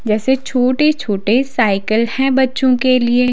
जैसे छोटे-छोटे साइकिल हैं बच्चों के लिए--